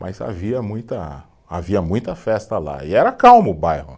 Mas havia muita, havia muita festa lá e era calmo o bairro.